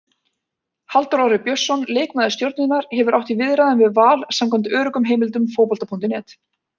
Halldór Orri Björnsson, leikmaður Stjörnunnar, hefur átt í viðræðum við Val samkvæmt öruggum heimildum Fótbolta.net.